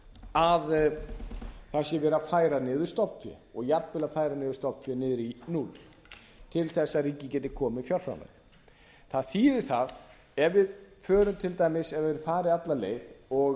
að það sé verið að færa niður stofnfé og jafnvel að færa niður stofnfé niður í núll til þess að ríkið geti komið með fjárframlag það þýðir það ef við hefðum farið alla leið og